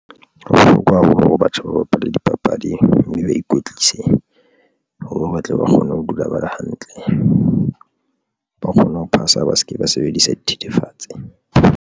Ho bohlokwa haholo hore batjha ba bapale dipapadi mme ba ikwetlise hore batle ba kgone ho dula ba le hantle, ba kgone ho phasa, ba se ke ba sebedisa dithethefatsi.